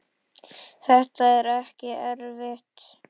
Þetta er ekki erfitt.